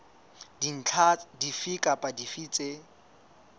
dintlha dife kapa dife tse